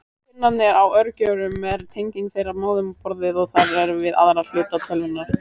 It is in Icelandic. Pinnarnir á örgjörvum eru tenging þeirra við móðurborðið og þar með við aðra hluta tölvunnar.